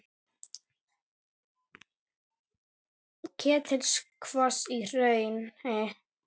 Ketill kvos í hrauni.